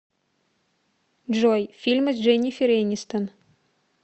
джой фильмы с дженифер энистон